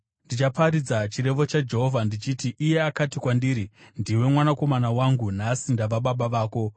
Ndichaparidza chirevo chaJehovha, ndichiti: Iye akati kwandiri, “Ndiwe Mwanakomana wangu; nhasi ndava Baba vako.